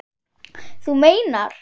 Þú meinar!